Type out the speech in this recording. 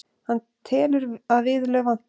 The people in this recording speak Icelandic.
Hann telur að viðurlög vanti.